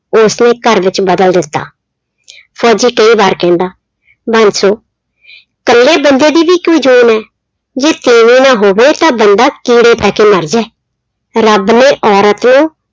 ਉਸਨੇ ਘਰ ਵਿੱਚ ਬਦਲ ਦਿੱਤਾ ਫ਼ੋਜ਼ੀ ਕਈ ਵਾਰ ਕਹਿੰਦਾ ਬਾਂਸੋ ਇਕੱਲੇ ਬੰਦੇ ਦੀ ਵੀ ਕੋਈ ਜੋਨ ਹੈ, ਜੇ ਤੀਵੀਂ ਨਾ ਹੋਵੇ ਤਾਂ ਬੰਦਾ ਕੀੜੇ ਪੈ ਕੇ ਮਰ ਜਾਏ, ਰੱਬ ਨੇ ਔਰਤ ਨੂੰ